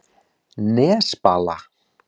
Nesbala